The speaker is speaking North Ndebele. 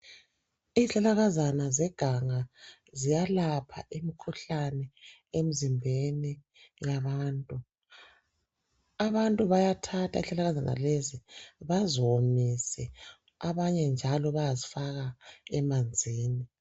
Izihlahlakazana zeganga ziyalapha imkhuhlane emzimbeni yabantu abantu bayathatha izihlahlakazana lezi baziwomise abanye njalo bayazifaka emanzini